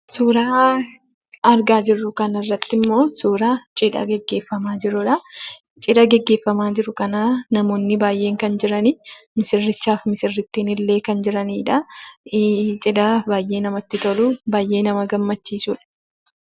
Suuraa argaa jirru kanarratt immoo suuraa cidha gaggeefamaa jiruudha. Cidha gaggeeffamaa jiru kana namoonni baayyeen kan jiranii, misirrichaaf misirrittinillee kan jiranidha. Cidha baayyee namatti tolu, baayyee nama gammachiisudha.